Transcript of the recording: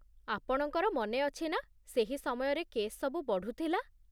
ଆପଣଙ୍କର ମନେଅଛି ନା ସେହି ସମୟରେ କେସ୍ ସବୁ ବଢ଼ୁଥିଲା?